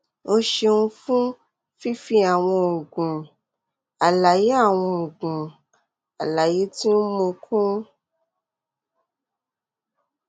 o ṣeun fun fifi awọn oogun alaye awọn oogun alaye ti o n mu kun